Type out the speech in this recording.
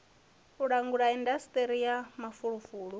u langula indasiṱiri ya mafulufulu